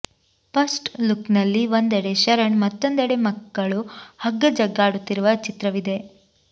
first look ನಲ್ಲಿ ಒಂದೆಡೆ ಶರಣ್ ಮತ್ತೊಂದೆಡೆ ಮಕ್ಕಳು ಹಗ್ಗಜಗ್ಗಾಡುತ್ತಿರುವ ಚಿತ್ರವಿದೆ